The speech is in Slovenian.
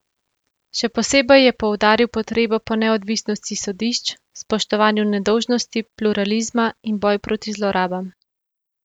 Še posebej je poudaril potrebo po neodvisnosti sodišč, spoštovanju nedolžnosti, pluralizma in boj proti zlorabam.